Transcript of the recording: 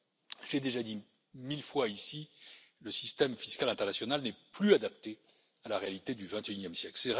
Je l'ai déjà dit mille fois ici le système fiscal international n'est plus adapté à la réalité du vingt et unième siècle.